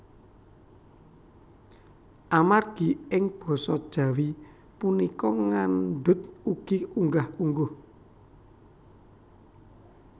Amargi ing Basa Jawi punika ngandhut ugi unggah ungguh